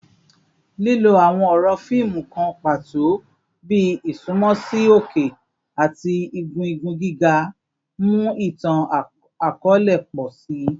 Lilo awọn ọrọ fiimu kan pato bi “isunmọ si oke” ati “igun igun giga” mu itan-akọọlẹ pọ si.